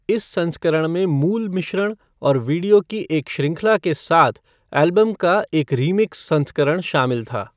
इस संस्करण में मूल मिश्रण और वीडियो की एक श्रृंखला के साथ एल्बम का एक रीमिक्स संस्करण शामिल था।